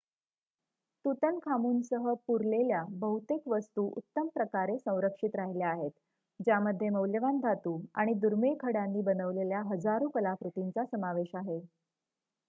तूतनखामूनसह पुरलेल्या बहुतेक वस्तू उत्तम प्रकारे संरक्षित राहिल्या आहेत ज्यामध्ये मौल्यवान धातू आणि दुर्मिळ खड्यांनी बनवलेल्या हजारो कलाकृतींचा समावेश आहे